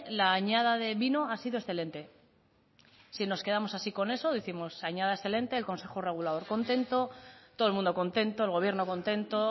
la añada de vino ha sido excelente si nos quedamos así con eso décimos añada excelente el consejo regulador contento todo el mundo contento el gobierno contento